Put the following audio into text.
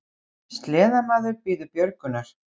Sleðamaður bíður björgunar